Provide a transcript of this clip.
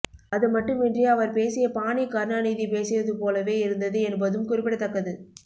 அதுமட்டுமின்றி அவர் பேசிய பாணி கருணாநிதி பேசியது போலவே இருந்தது என்பதும் குறிப்பிடத்தக்கது